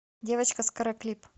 девочка с каре клип